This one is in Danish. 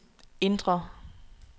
indre